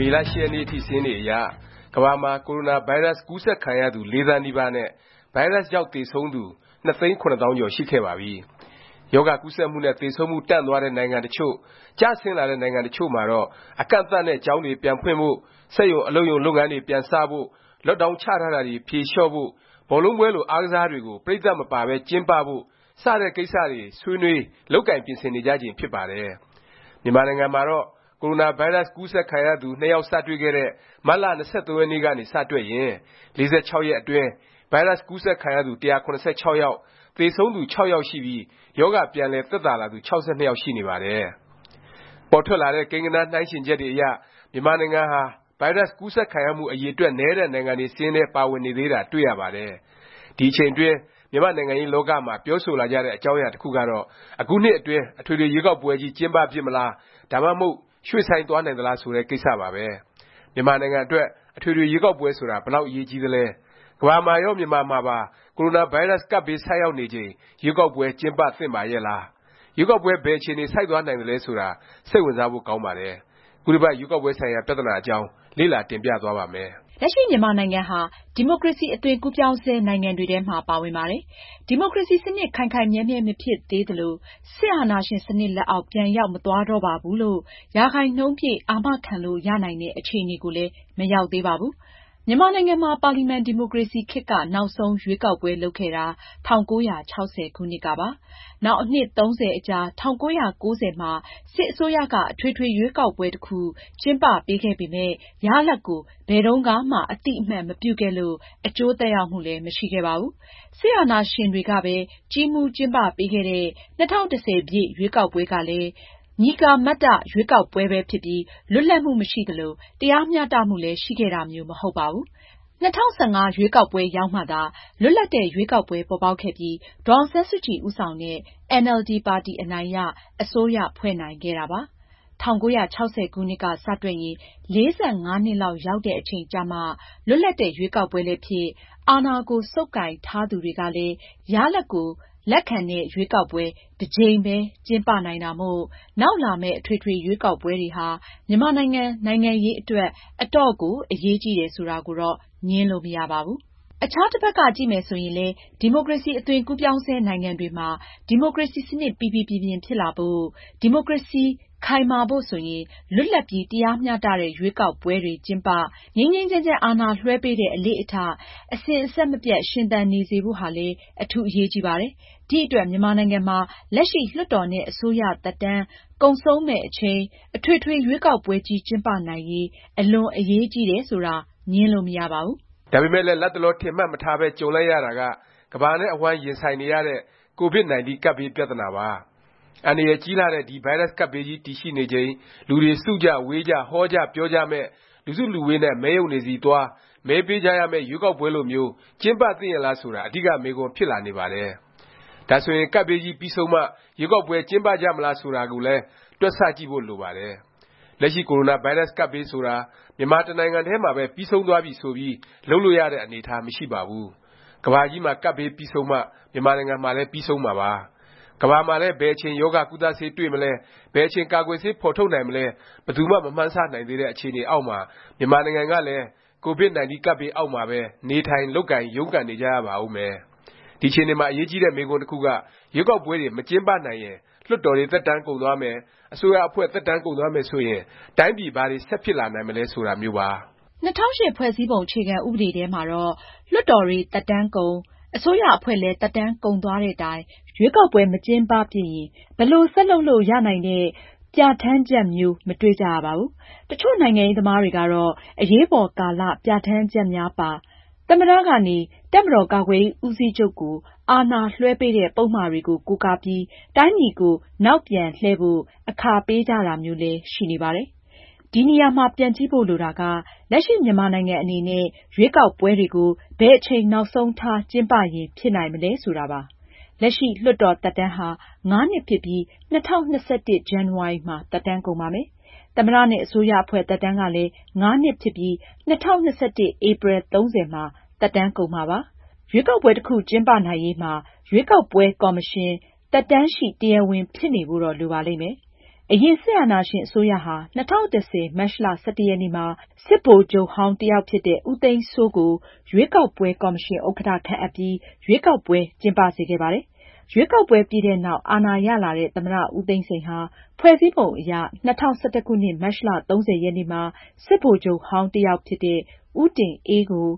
မေလ ၈ ရက်နေ့အထိ စာရင်းတွေအရ ကမ္ဘာမှာ ကိုရိုနာဗိုင်းရပ်စ် ကူးစက်ခံရသူ ၄ သန်းနီးပါးနဲ့ ဗိုင်းရပ်စ်ကြောင့် သေဆုံးသူ ၂ သိန်း ၇ သောင်းကျော် ရှိခဲ့ပါပြီ။ ရောဂါကူးစက်မှုနဲ့ သေဆုံးမှု တန့်သွားတဲ့ နိုင်ငံ တစ်ချို့၊ ကျဆင်းလာတဲ့ နိုင်ငံ တစ်ချို့မှာတော့ အကန့်အသတ်နဲ့ ကျောင်းတွေ ပြန်ဖွင့်ဖို့၊ စက်ရုံ အလုပ်ရုံ လုပ်ငန်းတွေ ပြန်စဖို့၊ Lockdown ချထားတာတွေ ဖြေလျော့ဖို့၊ ဘောလုံးပွဲလို အားကစားပွဲတွေကို ပရိတ်သတ်မပါပဲ ကျင်းပဖို့ စတဲ့ ကိစ္စတွေ ဆွေးနွေး၊ လုပ်ကိုင် ပြင်ဆင်နေကြချိန် ဖြစ်ပါတယ်။ မြန်မာနိုင်ငံမှာတော့ ကိုရိုနာဗိုင်းရပ်စ် ကူးစက်ခံရသူ ၂ ယောက် စတွေ့ခဲ့တဲ့ မတ်လ ၂၃ ရက်နေ့ကနေ စတွက်ရင် ၄၆ ရက်အတွင်း ဗိုင်းရပ်စ် ကူးစက်ခံရသူ ၁၇၆ ယောက်၊ သေဆုံးသူ ၆ ယောက် ရှိပြီး ရောဂါပြန်လည် သက်သာလာသူ ၆၂ ယောက်ရှိနေပါတယ်။ ပေါ်ထွက်လာတဲ့ ကိန်းဂဏန်းနှိုင်းယှဉ်ချက်တွေအရ မြန်မာနိုင်ငံဟာ ဗိုင်းရပ်စ် ကူးစက်ခံရမှု အရည်အတွက် နည်းတဲ့ နိုင်ငံတွေစာရင်းထဲ ပါဝင်နေသေးတာ တွေ့ရပါတယ်။ ဒီအချိန်အတွင်း မြန်မာ့နိုင်ငံရေး လောကမှာ ပြောဆိုလာကြတဲ့ အကြောင်းအရာ တစ်ခုကတော့ အခုနှစ်အတွင်း အထွေထွေရွေးကောက်ပွဲကြီး ကျင်းပဖြစ်မလား၊ ဒါမှမဟုတ် ရွှေ့ဆိုင်းသွားနိုင်သလား ဆိုတဲ့ ကိစ္စပါပဲ။ မြန်မာနိုင်ငံအတွက် အထွေထွေ ရွေးကောက်ပွဲ ဆိုတာ ဘယ်လောက် အရေးကြီးသလဲ၊ ကမ္ဘာမှာရော မြန်မာမှာပါ ကိုရိုနာဗိုင်းရပ်စ် ကပ်ဘေး ဆိုက်ရောက်နေချိန် ရွေးကောက်ပွဲ ကျင်းပ သင့်ပါရဲ့လား၊ ရွေးကောက်ပွဲ ဘယ်အခြေအနေ ဆိုက်သွားနိုင်သလဲ ဆိုတာ စိတ်ဝင်စားဖို့ ကောင်းပါတယ်။ ခုတစ်ပတ် ရွေးကောက်ပွဲ ဆိုင်ရာ ပြသနာအကြောင်း လေ့လာ တင်ပြသွားပါ့မယ်။ လက်ရှိ မြန်မာနိုင်ငံဟာ ဒီမိုကရေစီ အသွင်ကူးပြောင်းဆဲ နိုင်ငံတွေထဲမှာ ပါဝင်ပါတယ်။ ဒီမိုကရေစီ စနစ် ခိုင်ခိုင်မြဲမြဲ မဖြစ်သေးသလို၊ စစ်အာဏာရှင် စနစ်လက်အောက် ပြန်ရောက်မသွားတော့ပါဘူးလို့ ရာခိုင်နှုန်းပြည့် အာမခံလို့ ရနိုင်တဲ့ အခြေအနေကိုလည်း မရောက်သေးပါဘူး။ မြန်မာနိုင်ငံမှာ ပါလီမန်ဒီမိုကရေစီခေတ်က နောက်ဆုံး ရွေးကောက်ပွဲ လုပ်ခဲ့တာ ၁၉၆၀ ခုနှစ်ကပါ။ နောင် အနှစ် ၃၀ အကြာ ၁၉၉၀ မှာ စစ်အစိုးရက အထွေထွေ ရွေးကောက်ပွဲ တစ်ခု ကျင်းပပေးခဲ့ပေမယ့် ရလာဒ်ကို ဘယ်တုန်းကမှ အသိအမှတ်မပြုခဲ့လို့ အကျိုးသက်ရောက်မှုလည်း မရှိခဲ့ပါဘူး။ စစ်အာဏာရှင်တွေကပဲ ကြီးမှူးကျင်းပပေးခဲ့တဲ့ ၂၀၁၀ ရွေးကောက်ပွဲကလည်း မည်ကာမတ္တ ရွေးကောက်ပွဲပဲ ဖြစ်ပြီး လွတ်လပ်မှု မရှိသလို တရားမျှတမှုလည်း ရှိခဲ့တာမျိုး မဟုတ်ပါဘူး။ ၂၀၁၅ ရွေးကောက်ပွဲရောက်မှသာ လွတ်လပ်တဲ့ ရွေးကောက်ပွဲ ပေါ်ပေါက်ခဲ့ပြီး ဒေါ်အောင်ဆန်းစုကြည် ဦးဆောင်တဲ့ အင်န်အယ်လ်ဒီ ပါတီ အနိုင်ရ၊ အစိုးရဖွဲ့နိုင်ခဲ့တာပါ။ ၁၉၆၀ ခုနှစ်က စတွက်ရင် ၄၅ နှစ်လောက် ရောက်တဲ့ အချိန်ကျမှ လွတ်လပ်တဲ့ ရွေးကောက်ပွဲလည်းဖြစ်၊ အာဏာကို ဆုပ်ကိုင်ထားသူတွေကလည်း ရလာဒ်ကို လက်ခံတဲ့ ရွေးကောက်ပွဲ တစ်ကြိမ်ပဲ ကျင်းပနိုင်တာမို့ နောက်လာမယ့် အထွေထွေ ရွေးကောက်ပွဲတွေဟာ မြန်မာနိုင်ငံ နိုင်ငံရေး အတွက် အတော့်ကို အရေးကြီးတယ် ဆိုတာကိုတော့ ငြင်းလို့ မရပါဘူး။ အခြားတစ်ဖက်က ကြည့်မယ်ဆိုရင်လည်း ဒီမိုကရေစီ အသွင်ကူးပြောင်းဆဲ နိုင်ငံတွေမှာ ဒီမိုကရေစီ စနစ် ပီပီပြင်ပြင် ဖြစ်လာဖို့၊ ဒီမိုကရေစီ ခိုင်မာဖို့ ဆိုရင် လွတ်လပ်ပြီး တရားမျှတတဲ့ ရွေးကောက်ပွဲတွေ ကျင်းပ၊ ငြိမ်းငြိမ်းချမ်းချမ်း အာဏာလွဲှပေးတဲ့ အလေ့အထ အစဉ်အဆက်မပြတ် ရှင်သန်နေစေဖို့ဟာလည်း အထူးအရေးကြီးပါတယ်။ ဒီအတွက် မြန်မာနိုင်ငံမှာ လက်ရှိ လွှတ်တော်နဲ့ အစိုးရ သက်တမ်း ကုန်ဆုံးမယ့် အချိန် အထွေထွေ ရွေးကောက်ပွဲကြီး ကျင်းပနိုင်ရေး အလွန်အရေးကြီးတယ် ဆိုတာ ငြင်းလို့ မရနိုင်ပါဘူး။ ဒါပေမယ့်လည်း လတ်တလော ထင်မှတ်မထားပဲ ကြုံလိုက်ရတာက ကမ္ဘာနဲ့အဝှမ်း ရင်ဆိုင်နေရတဲ့ COVID-19 ကပ်ဘေး ပြသနာပါ။ အန္တရာယ်ကြီးလှတဲ့ ဒီ ဗိုင်းရပ်စ် ကပ်ဘေးကြီး တည်ရှိနေချိန် လူတွေ စုကြ၊ ဝေးကြ၊ ဟောကြ၊ ပြောကြမယ့်၊ လူစုလူဝေးနဲ့ မဲရုံတွေဆီသွား မဲပေးကြရမယ့် ရွေးကောက်ပွဲလိုမျိုး ကျင်းပသင့်ရဲ့လား ဆိုတာ အဓိက မေးခွန်းဖြစ်လာနေပါတယ်။ ဒါဆိုရင် ကပ်ဘေးကြီး ပြီးဆုံးမှ ရွေးကောက်ပွဲ ကျင်းပကြမလား ဆိုတာကိုလည်း တွက်ဆကြည့်ဖို့ လိုပါတယ်။ လက်ရှိ ကိုရိုနာဗိုင်းရပ်စ်ကပ်ဘေး ဆိုတာ မြန်မာတစ်နိုင်ငံထဲမှာပဲ ပြီးဆုံးသွားပြီဆိုပြီး လုပ်လို့ရတဲ့ အနေအထား မရှိပါဘူး။ ကမ္ဘာကြီးမှာ ကပ်ဘေး ပြီးဆုံးမှ မြန်မာနိုင်ငံမှာလည်း ပြီးဆုံးမှာပါ။ ကမ္ဘာမှာလည်း ဘယ်အချိန် ရောဂါကုသဆေး တွေ့မလဲ၊ ဘယ်အချိန် ကာကွယ်ဆေး ဖော်ထုတ်နိုင်မလဲ ဘယ်သူမှ မမှန်းဆနိုင်သေးတဲ့ အခြေအနေအောက်မှာ မြန်မာနိုင်ငံကလည်း COVID-19 ကပ်ဘေး အောက်မှာပဲ နေထိုင်၊ လုပ်ကိုင်၊ ရုန်းကန်နေကြရပါဦးမယ်။ ဒီအခြေအနေမှာ အရေးကြီးတဲ့ မေးခွန်းတစ်ခုက ရွေးကောက်ပွဲတွေ မကျင်းပနိုင်ရင် လွှတ်တော်တွေ သက်တမ်းကုန်သွားမယ်၊ အစိုးရအဖွဲ့ သက်တမ်း ကုန်သွားမယ် ဆိုရင် တိုင်းပြည် ဘာတွေ ဆက်ဖြစ်လာနိုင်မလဲ ဆိုတာမျိုးပါ။ ၂၀၀၈ ဖွဲ့စည်းပုံ အခြေခံ ဥပဒေထဲမှာတော့ လွှတ်တော်တွေ သက်တမ်းကုန်၊ အစိုးရအဖွဲ့လည်း သက်တမ်းကုန်သွားတဲ့တိုင် ရွေးကောက်ပွဲ မကျင်းပဖြစ်ရင် ဘယ်လို ဆက်လုပ်လို့ ရနိုင်တဲ့ ပြဌာန်းချက်မျိုး မတွေ့ကြရပါဘူး။ တစ်ချို့နိုင်ငံရေးသမားတွေကတော့ အရေးပေါ်ကာလ ပြဌာန်းချက်များပါ သမ္မတ ကနေ တပ်မတော်ကာကွယ်ရေး ဦးစီးချုပ်ကို အာဏာလွဲှပေးတဲ့ ပုဒ်မတွေကို ကိုးကားပြီး တိုင်းပြည်ကို နောက်ပြန်လှည့်ဖို့ အခါပေးကြတာမျိုးလည်း ရှိနေပါတယ်။ ဒီနေရာမှာ ပြန်ကြည့်ဖို့ လိုတာက လက်ရှိ မြန်မာနိုင်ငံ အနေနဲ့ ရွေးကောက်ပွဲတွေကို ဘယ်အချိန် နောက်ဆုံးထား ကျင်းပရင် ဖြစ်နိုင်မလဲ ဆိုတာပါ။ လက်ရှိ လွှတ်တော်သက်တမ်းဟာ ၅ နှစ်ဖြစ်ပြီး ၂၀၂၁ ဇန်နဝါရီမှာ သက်တမ်းကုန်ပါမယ်။ သမ္မတ နဲ့ အစိုးရအဖွဲ့ သက်တမ်းကလည်း ၅ နှစ်ဖြစ်ပြီး ၂၀၂၁ ဧပြီ ၃၀ မှာ သက်တမ်း ကုန်မှာဖြစ်ပါတယ်။ ရွေးကောက်ပွဲ တစ်ခု ကျင်းပနိုင်ရေးမှာ ရွေးကောက်ပွဲ ကော်မရှင် သက်တမ်းရှိ တရားဝင် ဖြစ်နေဖို့တော့ လိုပါလိမ့်မယ်။ အရင် စစ်အာဏာရှင် အစိုးရဟာ ၂၀၁၀ မတ်လ ၁၁ ရက်နေ့မှာ စစ်ဗိုလ်ချုပ်ဟောင်း တစ်ယောက်ဖြစ်တဲ့ ဦးသိန်းစိုးကို ရွေးကောက်ပွဲ ကော်မရှင် ဥက္ကဌ ခန့်အပ်ပြီး ရွေးကောက်ပွဲ ကျင်းပစေခဲ့ပါတယ်။ ရွေးကောက်ပွဲ ပြီးတဲ့နောက် အာဏာရလာတဲ့ သမ္မတ ဦးသိန်းစိန်ဟာ ဖွဲ့စည်းပုံ အရ ၂၀၁၁ ခုနှစ် မတ်လ ၃၀ ရက်နေ့မှာ စစ်ဗိုလ်ချုပ်ဟောင်း တစ်ယောက်ဖြစ်တဲ့ ဦးတင်အေးကို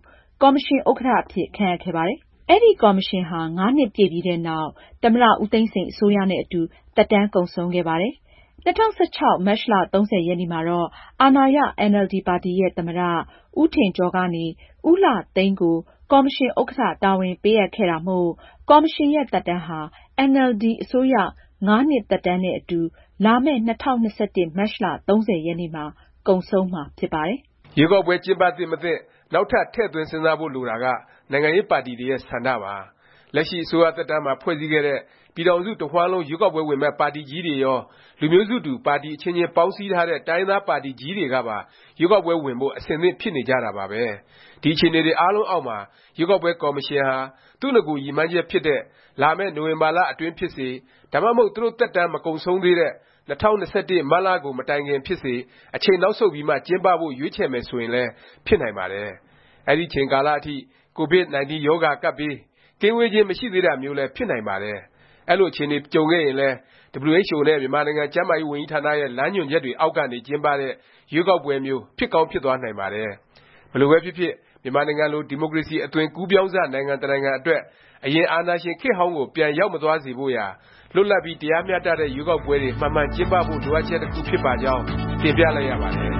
ကော်မရှင် ဥက္ကဌ အဖြစ် ခန့်အပ်ခဲ့ပါတယ်။ အဲဒီ ကော်မရှင်ဟာ ၅ နှစ်ပြည့်ပြီးနောက် သမ္မတ ဦးသိန်းစိန် အစိုးရ နဲ့အတူ သက်တမ်းကုန်ဆုံး ခဲ့ပါတယ်။ ၂၀၁၆ မတ်လ ၃၀ ရက်နေ့မှာတော့ အာဏာရ အင်န်အယ်လ်ဒီ ပါတီရဲ့ သမ္မတ ဦးထင်ကျော်ကနေ ဦးလှသိန်းကို ကော်မရှင်ဥက္ကဌ တာဝန်ပေးအပ်ခဲ့တာမို့ ကော်မရှင်ရဲ့ သက်တမ်းဟာ အင်န်အယ်လ်ဒီ အစိုးရ ၅ နှစ် သက်တမ်းနဲ့ အတူ လာမယ့် ၂၀၂၁ မတ်လ ၃၀ ရက်နေ့မှ ကုန်ဆုံးမှာ ဖြစ်ပါတယ်။ ရွေးကောက်ပွဲ ကျင်းပသင့်မသင့် နောက်ထပ် ထည့်သွင်းစဉ်းစားဖို့ လိုတာက နိုင်ငံရေးပါတီတွေရဲ့ ဆန္ဒပါ။ လက်ရှိ အစိုးရသက်တမ်းမှာ ဖွဲ့စည်းခဲ့တဲ့ ပြည်ထောင်စု တစ်ဝှမ်းလုံး ရွေးကောက်ပွဲဝင်မယ့် ပါတီကြီးတွေရော၊ လူမျိုးစုတူ ပါတီ အချင်းချင်း ပေါင်းစည်းထားတဲ့ တိုင်းရင်းသားပါတီကြီးတွေကပါ ရွေးကောက်ပွဲဝင်ဖို့ အဆင်သင့် ဖြစ်နေကြတာပါပဲ။ ဒီအခြေအနေတွေ အားလုံးအောက်မှာ ရွေးကောက်ပွဲ ကော်မရှင်ဟာ သူ့နဂို ရည်မှန်းချက်ဖြစ်တဲ့ လာမယ့် နိုဝင်ဘာလ အတွင်းဖြစ်စေ၊ ဒါမှမဟုတ် သူတို့ သက်တမ်း မကုန်ဆုံးသေးတဲ့ ၂၀၂၁ မတ်လကုန် မတိုင်ခင် ဖြစ်စေ အချိန်နောက်ဆုတ်ပြီးမှ ကျင်းပဖို့ ရွေးချယ်မယ် ဆိုရင်လည်း ဖြစ်နိုင်ပါတယ်။ အဲဒီအချိန်ကာလ အထိ COVID-19 ကပ်ရောဂါဘေး ကင်းဝေးခြင်း မရှိသေးတာမျိုးလည်း ဖြစ်နိုင်ပါတယ်။ အဲလို အခြေအနေ ကြုံခဲ့ရင်လည်း WHO နဲ့ မြန်မာနိုင်ငံ ကျန်းမာရေးဝန်ကြီးဌာနရဲ့ လမ်းညွှန်ချက်တွေ အောက်ကနေ ကျင်းပတဲ့ ရွေးကောက်ပွဲမျိုး ဖြစ်ကောင်းဖြစ်သွားနိုင်ပါတယ်။ ဘယ်လိုပဲဖြစ်ဖြစ် မြန်မာနိုင်ငံလို ဒီမိုကရေစီ အသွင်ကူးပြောင်းစ နိုင်ငံ တစ်နိုင်ငံအတွက် အရင် အာဏာရှင် ခေတ်ဟောင်းကို ပြန် ရောက်မသွားစေဖို့ရာ လွတ်လပ်ပြီး တရားမျှတတဲ့ ရွေးကောက်ပွဲတွေ မှန်မှန်ကျင်းပဖို့ လိုအပ်ချက်တခုဖြစ်ပါကြောင်း တင်ပြလိုက်ရပါတယ်။